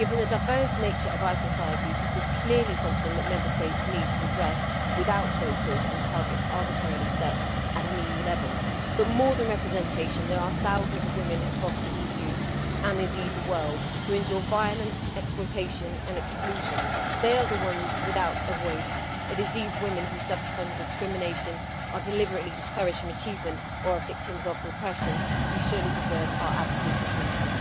Given the diverse nature of our societies, this is clearly something that Member States need to address without quotas and targets arbitrarily set at an EU level. However, over and above representation, there are thousands of women across the EU, and indeed the world, who endure violence, exploitation and exclusion. They are the ones without a voice. It is those women who suffer from discrimination, are deliberately discouraged from achievement, or are victims of repression who surely deserve our absolute attention.